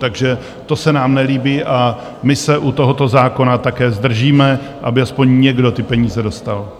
Takže to se nám nelíbí a my se u tohoto zákona také zdržíme, aby aspoň někdo ty peníze dostal.